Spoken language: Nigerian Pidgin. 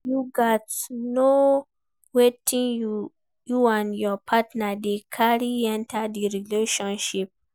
You gats know wetin you and your partner dey carry enter di relationship